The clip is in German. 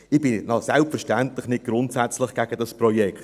Ich bin selbstverständlich nicht grundsätzlich gegen dieses Projekt.